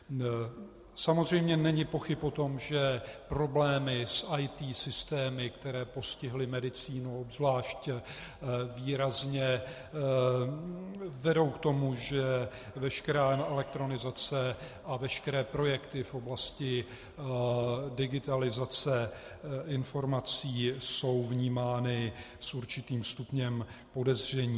Samozřejmě není pochyb o tom, že problémy s IT systémy, které postihly medicínu, obzvlášť výrazně vedou k tomu, že veškerá elektronizace a veškeré projekty v oblasti digitalizace informací jsou vnímány s určitým stupněm podezření.